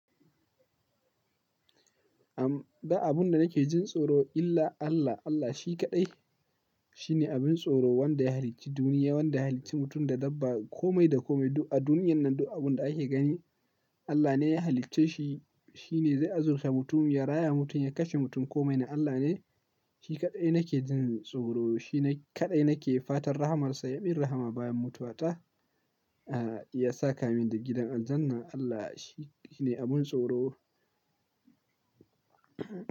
Am, ba abin da nake jin tsoro illa Allah, Allah shi kaɗai shine abin tsoro wanda ya halicci duniya, wanda ya halicci mutum da dabba, kome da kome a duniyan nan duk abin da ake gani Allah ne ya halicce shi. Shi ne zai azurce mutum, ya raya mutum, ya kashe mutum, kome na Allah ne. Shi kaɗai nake jin tsoro, shi ne kaɗai nake fatan rahamarsa, ya min rahama bayan mutuwata, ah, ya saka min da gidan aljanna. Allah shi ne abin tsoro.